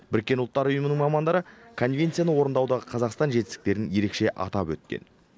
біріккен ұлттар ұйымының мамандары конвенцияны орындаудағы қазақстан жетістіктерін ерекше атап өткен